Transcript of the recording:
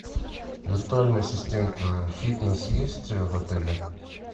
виртуальный ассистент фитнес есть в отеле